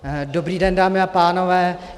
Dobrý den, dámy a pánové.